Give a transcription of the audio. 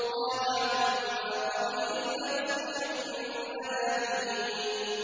قَالَ عَمَّا قَلِيلٍ لَّيُصْبِحُنَّ نَادِمِينَ